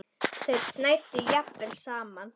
Þeir snæddu jafnvel saman.